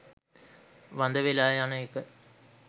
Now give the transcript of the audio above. වඳ වෙලා යන එක